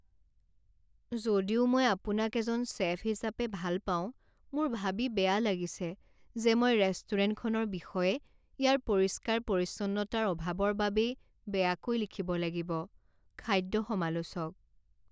যদিও মই আপোনাক এজন চে'ফ হিচাপে ভাল পাওঁ মোৰ ভাবি বেয়া লাগিছে যে মই ৰেষ্টুৰেণ্টখনৰ বিষয়ে ইয়াৰ পৰিষ্কাৰ পৰিচ্ছন্নতাৰ অভাৱৰ বাবেই বেয়াকৈ লিখিব লাগিব। খাদ্য সমালোচক